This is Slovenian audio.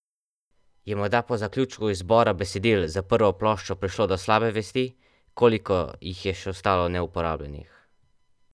Je morda po zaključku izbora besedil za prvo ploščo prišlo do slabe vesti, koliko jih je še ostalo neuporabljenih?